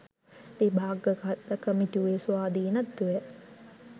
විභාග කළ කමිටුවේ ස්වාධීනත්වය